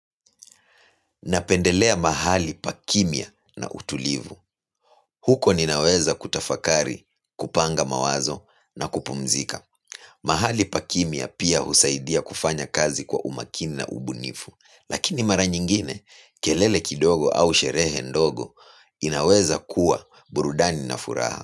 Napendelea mahali pa kimya na utulivu. Huko ninaweza kutafakari kupanga mawazo na kupumzika. Mahali pa kimya pia husaidia kufanya kazi kwa umakini na ubunifu. Lakini mara nyingine, kelele kidogo au sherehe ndogo, inaweza kuwa burudani na furaha.